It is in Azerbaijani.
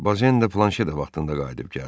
Bozen də planşedə vaxtında qayıdıb gəldi.